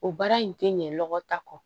O baara in tɛ ɲɛ lɔgɔ ta kɔ